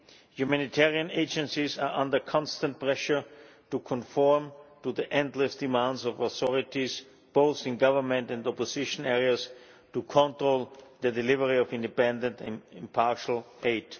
Humanitarian agencies are under constant pressure to conform to the endless demands of authorities, both in government and opposition areas, to control the delivery of independent and impartial aid.